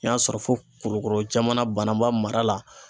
N y'a sɔrɔ fo Kulukoro jamana Banaba mara la.